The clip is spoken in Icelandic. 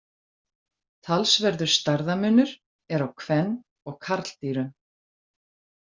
Talsverður stærðarmunur er á kven- og karldýrum.